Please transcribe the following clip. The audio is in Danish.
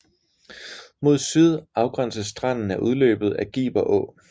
Mod syd afgænses stranden af udløbet af Giber Å